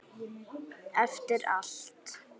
Eftir allt.